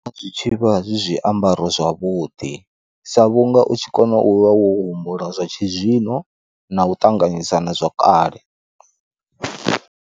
Zwi tshivha zwi zwiambaro zwavhuḓi, sa vhunga u tshi kona u vha wo humbula zwa tshizwino na u ṱanganyisa na zwa kale.